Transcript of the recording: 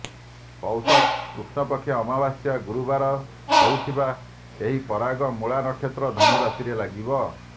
ପୈଷ କୃଷ୍ଣପକ୍ଷ ଅମାବାସ୍ୟା ଗୁରୁବାର ହେଉଥିବା ଏହି ପରାଗ ମୂଳାନକ୍ଷତ୍ର ଧନୁରାଶିରେ ଲାଗିବ